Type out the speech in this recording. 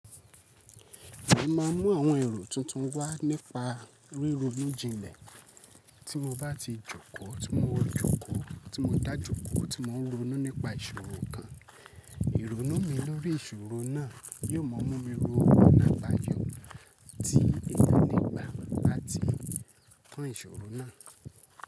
Mo máà ń mú àwọn èrò tuntun wá nípa ríro inú jinlẹ̀. Tí mo bá ti jókòó, tí mo jókòó, tí mo dá jókòó tí mo ń ronú nípa ìṣòro kan, ìrònú mi lórí ìṣòro náà yóò mọ mú mi ro ọ̀nà àbáyọ̀ tí èèyàn lè gbà láti tán ìṣòro náà.